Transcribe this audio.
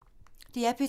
DR P3